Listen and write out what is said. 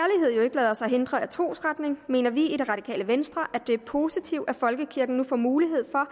lader sig hindre af trosretning mener vi i det radikale venstre at det er positivt at folkekirken nu får mulighed for